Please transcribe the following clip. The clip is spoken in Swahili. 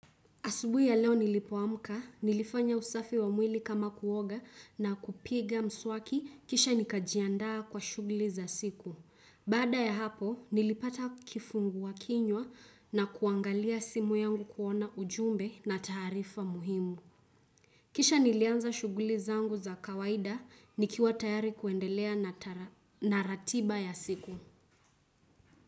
Asubuhi ya leo nilipoamuka, nilifanya usafi wa mwili kama kuoga na kupiga mswaki kisha nikajiandaa kwa shuguli za siku. Baada ya hapo, nilipata kifunguwa kinywa na kuangalia simu yangu kuona ujumbe na taarifa muhimu. Kisha nilianza shuguli za angu za kawaida nikiwa tayari kuendelea na ratiba ya siku.